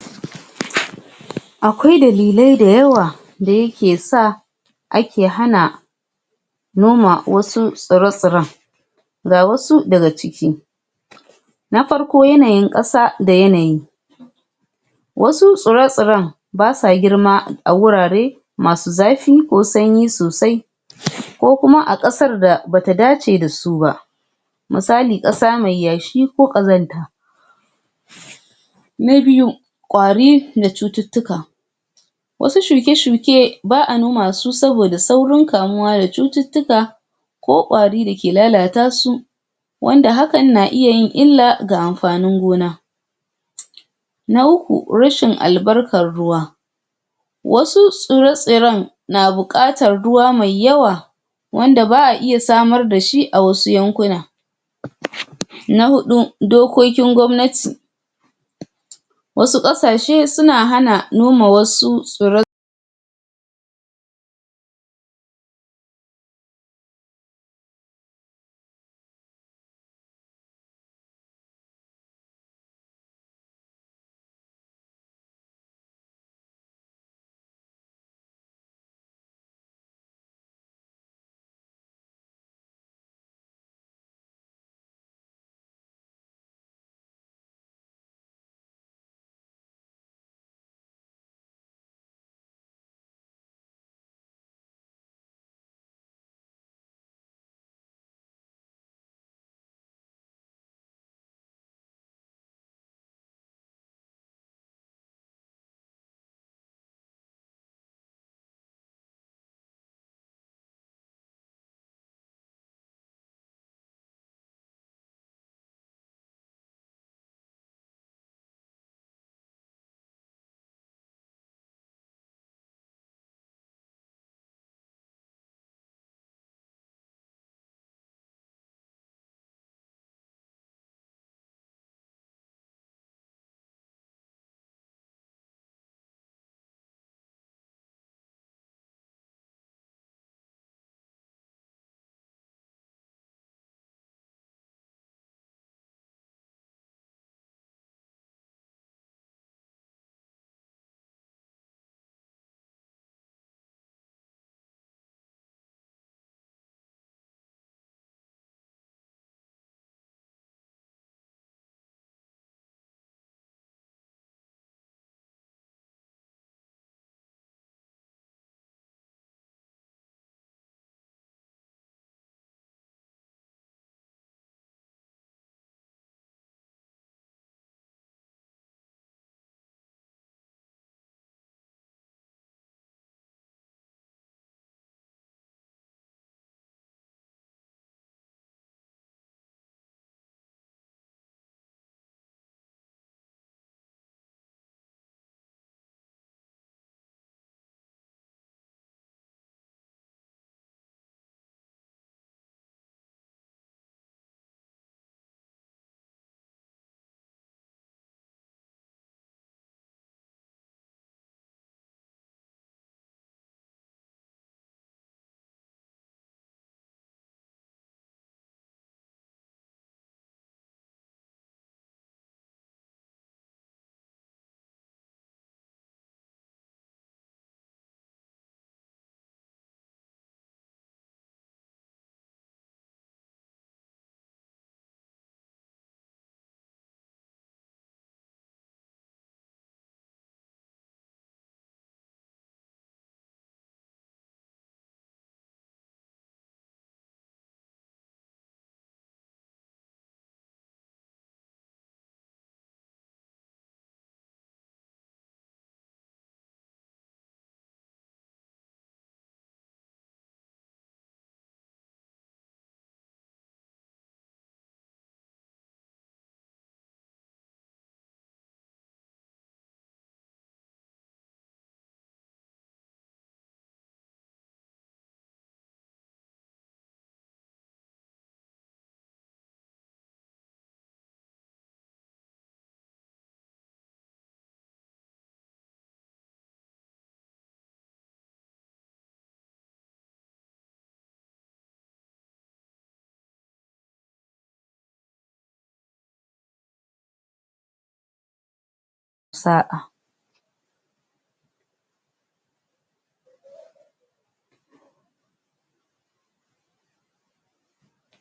akwai dalilai dayawa da yake sa a ke hana noma wasu tsira tsiran ga wasu daga ciki na farko yanayin ƙasa da yanayi wasu tsura tsaran basa girma a wurare masu zafi ko sanyi sosai ko kuma a ƙasar da bata dace da su ba misali kƙasa mai yashi ko ƙazanta na biyu ƙari da cututtuka wasu shuke shuke ba' a noma su saboda saurin kamuwa da cututtuka ko ƙwari da ke lalata su wanda hakan na iya yin illa ga anfanin gona na uku rashin al'barkan ruwa wasu tsura tsiran na buƙatar ruwa mai yawa wanda ba'a iya samar dashi awasu yankuna na huɗu dokokin gwamnati wasu ƙasashe suna hana noma wasu tsu sa'a